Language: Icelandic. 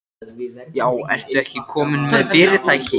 Já, ertu ekki kominn með fyrirtæki?